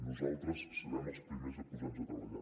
nosaltres serem els primers a posar nos a treballar